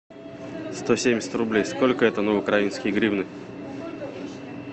сто семьдесят рублей сколько это на украинские гривны